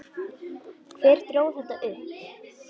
Hver dró þetta upp?